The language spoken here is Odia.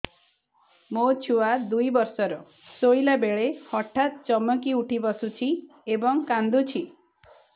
ମୋ ଛୁଆ ଦୁଇ ବର୍ଷର ଶୋଇଲା ବେଳେ ହଠାତ୍ ଚମକି ଉଠି ବସୁଛି ଏବଂ କାଂଦୁଛି